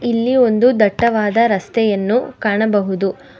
ಇಲ್ಲಿ ಒಂದು ದಟ್ಟವಾದ ರಸ್ತೆಯನ್ನು ಕಾಣಬಹುದು.